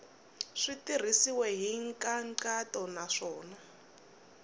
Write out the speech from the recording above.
swi tirhisiwile hi nkhaqato naswona